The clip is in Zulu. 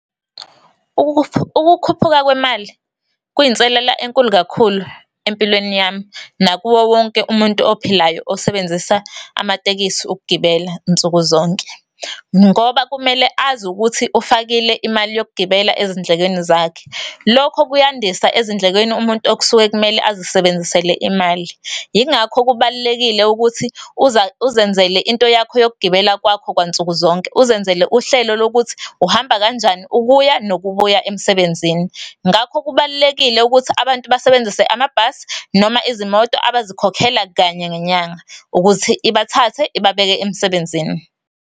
Ukukhuphuka kwemali kuyinselela enkulu kakhulu empilweni yami nakuwo wonke umuntu ophilayo osebenzisa amatekisi ukugibela nsuku zonke. Ngoba kumele azi ukuthi ufakile imali yokugibela ezindlekweni zakhe. Lokho kuyandisa ezindlekweni umuntu okusuke kumele azisebenzisele imali. Yingakho kubalulekile ukuthi uzenzele into yakho yokugibela kwakho kwansuku zonke, uzenzele uhlelo lokuthi uhamba kanjani ukuya nokubuya emsebenzini. Ngakho kubalulekile ukuthi abantu abasebenzise amabhasi, noma izimoto abazikhokhela kanye ngenyanga ukuthi ibathathe ibabeke emsebenzini.